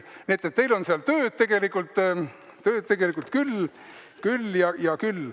Nii et teil on seal tööd tegelikult küll ja küll.